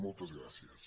moltes gràcies